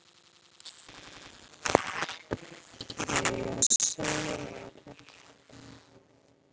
Á ég að segja þér eitt?